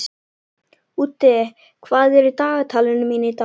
Úddi, hvað er í dagatalinu mínu í dag?